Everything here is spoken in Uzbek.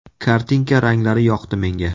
Kartinka ranglari yoqdi menga.